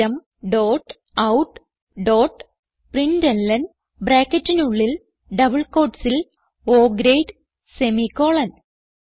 system dot out dot println ബ്രാക്കറ്റിനുള്ളിൽ double quotesൽ O grade semicolon